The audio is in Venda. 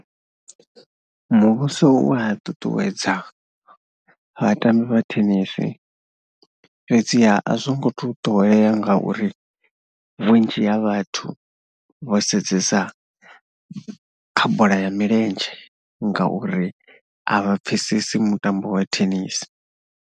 Muvhuso u a ṱuṱuwedza vhatambi vha thenisi fhedziha a zwo ngo tou ṱoḓea ngauri vhunzhi ha vhathu vho sedzesa kha bola ya milenzhe ngauri a vha pfhesesi mutambo wa thenisi.